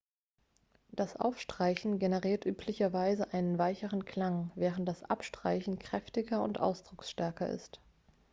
das aufstreichen generiert üblicherweise einen weicheren klang während das abstreichen kräftiger und ausdrucksstärker ist